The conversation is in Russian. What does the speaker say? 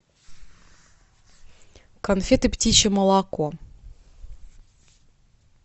конфеты птичье молоко